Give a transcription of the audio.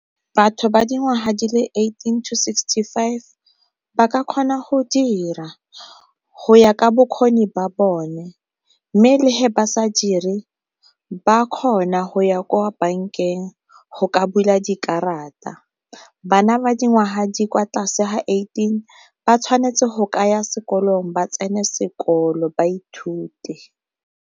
Batho ba dingwaga di le eighteen to sixty five ba ka kgona go dira, go ya ka bokgoni ba bone. Mme le ba sa dire ba kgona go ya ko bankeng go ka bula dikarata. Bana ba dingwaga di kwa tlase ga eighteen ba tshwanetse go kaya sekolong ba tsene sekolo ba ithute.